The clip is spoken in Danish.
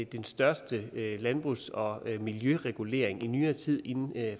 den største landbrugs og miljøregulering i nyere tid inden